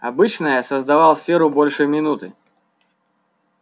обычно я создавал сферу больше минуты